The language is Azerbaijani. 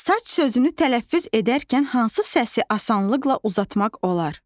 Saç sözünü tələffüz edərkən hansı səsi asanlıqla uzatmaq olar?